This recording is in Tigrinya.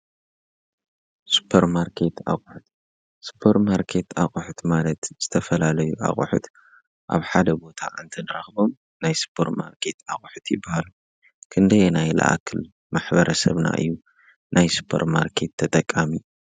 ስፖርማርኬት ኣቑሑት ስፐርማርኬት ኣቑሑት ማለት ዝተፈላለዩ ኣቑሑት ኣብ ሓደ ቦታ እንትንረክቦም ናይ ስፖርማርኬት ኣቑሑት ይበሃሉ ።ክንደየናይ ዝኣክል ማሕበረሰብና እዩ ናይ ሱፖርማርኬት ተጠቃሚ?